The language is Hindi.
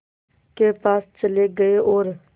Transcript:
के पास चले गए और